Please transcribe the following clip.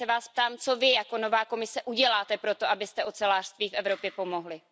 A já se vás ptám Co vy jako nová Komise uděláte pro to, abyste ocelářství v Evropě pomohli?